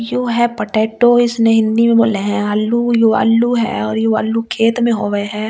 You है potato इसने हिंदी में बोले हैं आलू यू आलू है और यू आलू खेत में होवै हैं और।